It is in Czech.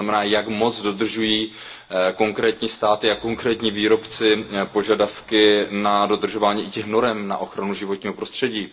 To znamená jak moc dodržují konkrétní státy a konkrétní výrobci požadavky na dodržování i těch norem na ochranu životního prostředí.